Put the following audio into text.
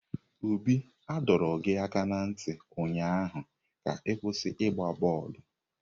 Obi a dọọ gị aka na ntị ụnyaahụ ka ịkwụsị ị gbaa bọọlụ!